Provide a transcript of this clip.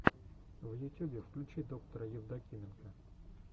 в ютюбе включи доктора евдокименко